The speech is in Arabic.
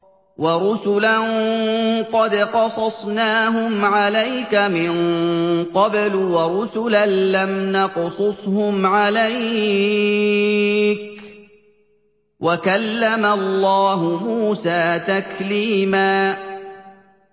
وَرُسُلًا قَدْ قَصَصْنَاهُمْ عَلَيْكَ مِن قَبْلُ وَرُسُلًا لَّمْ نَقْصُصْهُمْ عَلَيْكَ ۚ وَكَلَّمَ اللَّهُ مُوسَىٰ تَكْلِيمًا